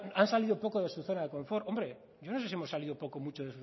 han salido poco de su zona de confort hombre yo no sé si hemos salido poco o mucho